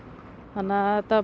þannig að þetta